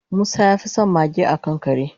musa yafison mage akan kare